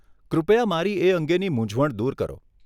કૃપયા મારી એ અંગેની મુંઝવણ દૂર કરો.